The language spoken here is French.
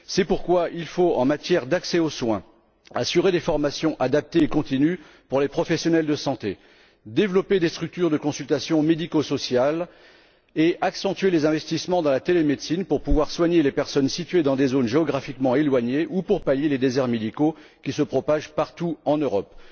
C'est pourquoi il faut, en matière d'accès aux soins, assurer des formations adaptées et continues pour les professionnels de santé, développer des structures de consultation médico sociales et accentuer les investissements dans la télémédecine pour pouvoir soigner les personnes situées dans des zones géographiquement éloignées ou pour pallier les déserts médicaux qui se propagent partout en Europe.